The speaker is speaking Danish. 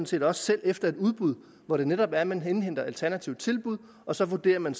set også selv efter et udbud hvor det netop er at man indhenter alternative tilbud og så vurderer man